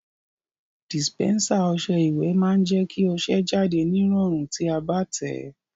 Dìsìpẹ́nsà ọsẹ ìwẹ̀ má n je kí ọsẹ jáde nírọ̀rùn ti a bá tẹ̀ẹ́